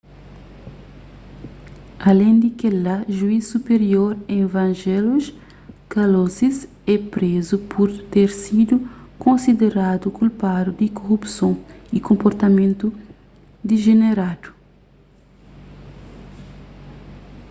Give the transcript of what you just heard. alén di kel-la juiz supirior evangelos kalousis é prézu pur ter sidu konsideradu kulpadu di korupson y konportamentu dijeneradu